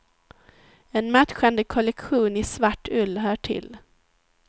En matchande kollektion i svart ull hör till.